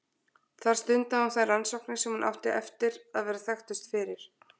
þar stundaði hún þær rannsóknir sem hún átti eftir að vera þekktust fyrir